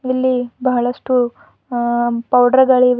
ಇಲ್ಲಿ ಬಹಳಷ್ಟು ಅ ಪೌಡರ್ ಗಳಿವೆ.